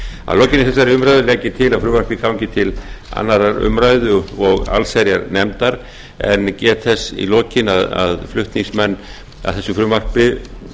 að lokinni þessari umræðu legg ég til að frumvarpið gangi til annarrar umræðu og alls herjarnefndar en get þess í lokin að flutningsmenn að þessu frumvarpi